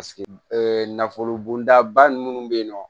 nafolo bondaba munnu bɛ ye nɔ